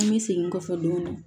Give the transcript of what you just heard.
An bɛ segin kɔfɛ dɔɔnin